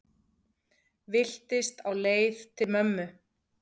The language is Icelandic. Villtist á leið til mömmu